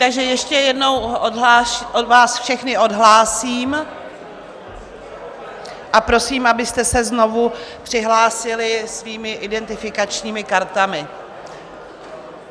Takže ještě jednou vás všechny odhlásím a prosím, abyste se znovu přihlásili svými identifikačními kartami.